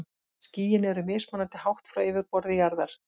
Skýin eru mismunandi hátt frá yfirborði jarðar.